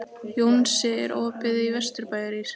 Jónsi, er opið í Vesturbæjarís?